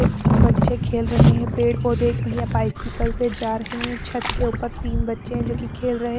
एक बच्चे खेल रहे हैं पेड़-पौधे एक भैया बाइसकल से जा रहे हैं छत के ऊपर तीन बच्चे हैं जो कि खेल रहे हैं।